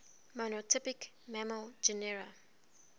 monotypic mammal genera